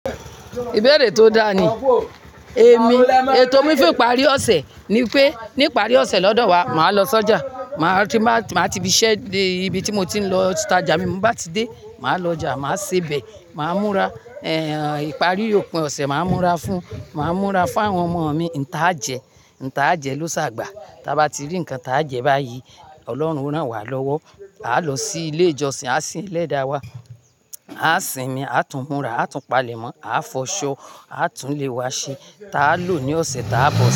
Ìbéèrè tó dáa ni. Èmi, ètò mí fún ìparí ọ̀sẹ̀ ni pé níparí ọ̀sẹ̀ lọ́dọ̀ wa màá lọ sọ́jà. Màá tí màá tí bí iṣẹ́ dé ibi tí mo ti ń lọ, tájà mi bá ti dé, màá lọ ọjà, màá sebẹ̀, màá múra, ìparí òpin ọ̀sẹ̀ màá múra fún, màá múra fún àwọn ọmọ mi, nǹ tá a jẹ, nǹ tá a jẹ ló ṣàgbà. Taa bá ti rí nǹkan tá a jẹ báyìí, Ọlọ́run o rán wa lọ́wọ́. A lọ sí ilé ìjọsìn, a sin Ẹlẹ́da wa, a sinmi, a tún múra, a tún palẹ̀ mọ́, a fọṣọ, a túnlé wa ṣe. Taa lò ní ọ̀sẹ̀ ta a bọ̀ sí.